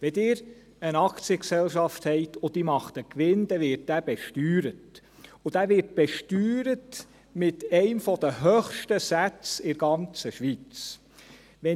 Wenn Sie eine Aktiengesellschaft haben, und diese macht einen Gewinn, dann wir dieser besteuert, und dieser wird mit einem der höchsten Sätze in der ganzen Schweiz besteuert.